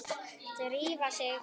Drífa sig